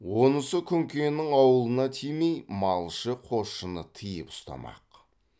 онысы күнкенің аулына тимей малшы қосшыны тыйып ұстамақ